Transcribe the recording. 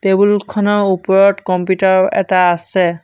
Table খনৰ ওপৰত computer এটা আছে।